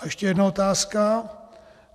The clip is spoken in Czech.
A ještě jedna otázka.